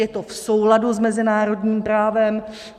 Je to v souladu s mezinárodním právem.